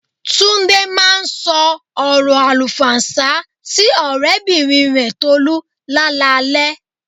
Túndé máa ń sọ ọrọ àlùfàǹsá sí ọ̀rẹ́bìnrin rẹ Tolú lálaalẹ́